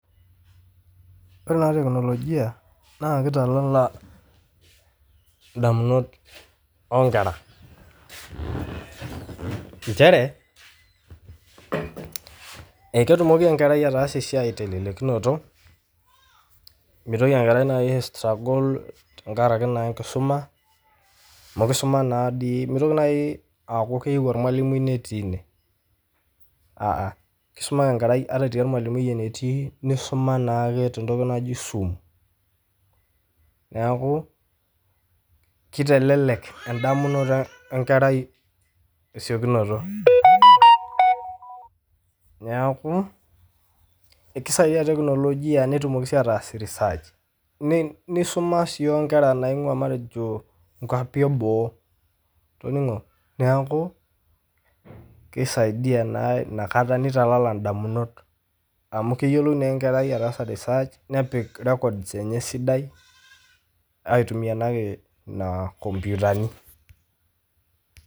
Ore taa teknolojia naa kitalala indamunot onkera , nchere eketumoki enkerai ataasa esiai telelekinoto mitoki enkerai nai aistruggle tenkaraki nai enkisuma amu kisuma naadii , mitoki nai aaku keyieu ormwalimui netii ine , aa , kisuma ake enkerai ata etii ormwalimui enetii nisuma naake tentoki naji zoom. Niaku kitelelek endamunoto enkerai te siokinoto . Niaku ekisaidia teknolojia netumoki sii ataas research ,nisuma sii onkera naingwaa matejo inkwapi eboo , toningo , niaku kisaidia naa inakata , nitalala indamunot amu keyiolou naa enkerai ajo etaasa research, nepik records enye esidai aitumia naake ina komputani.